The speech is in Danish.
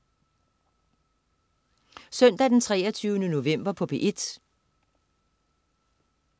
Søndag den 23. november - P1: